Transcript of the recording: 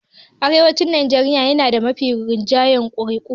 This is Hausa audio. Arewacin Nigeria yana da mafi rinjayen ƙuri'u.